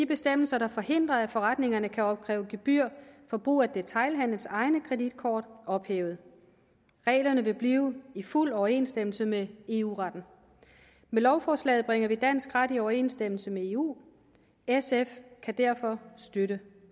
bestemmelser der forhindrer at forretningerne kan opkræve gebyr for brug af detailhandelens egne kreditkort ophævet reglerne vil blive i fuld overensstemmelse med eu retten med lovforslaget bringer vi dansk ret i overensstemmelse med eu sf kan derfor støtte